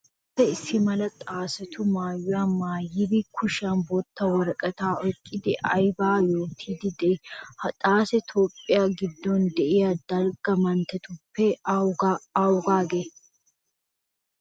Xaacee issimala xaacetu maayuwa maayidi kushiyan bootta woraqataa oyqqidi aybaa yootiiddi de'ii? Ha xaacee Toophphiya giddon de'iya dalgga manttetuppe awaagee?